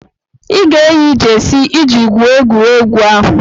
Ị ga-eyi jesi iji gwuo egwuregwu ahụ!